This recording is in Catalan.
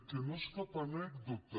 que no és cap anècdota